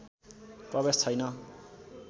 प्रवेश छैन